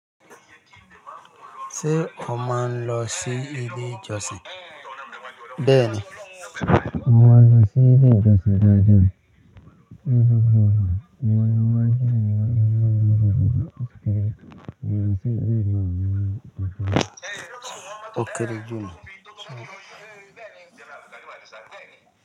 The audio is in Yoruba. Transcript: Ṣé o máa ń lọ sí ilé ìjọsìn? Bẹ́ẹ̀ni, mo máa ń lọ sí ilé ìjọsìn daadaa.